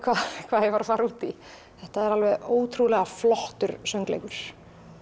hvað ég var að fara út í þetta er ótrúlega flottur söngleikur